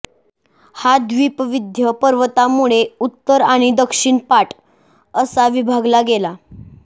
हा द्वीप विंध्य पर्वतामुळे उत्तर आणि दक्षिणपाठ असा विभागला गेला